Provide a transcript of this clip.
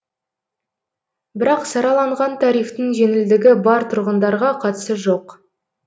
бірақ сараланған тарифтің жеңілдігі бар тұрғындарға қатысы жоқ